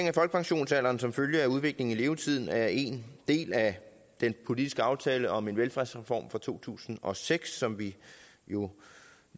af folkepensionsalderen som følge af udviklingen i levetiden er en del af den politiske aftale om en velfærdsreform fra to tusind og seks som vi jo